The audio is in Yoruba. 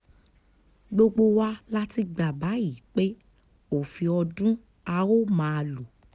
gbogbo wa la ti gbà báyìí pé òfin ọdún a ó máa lò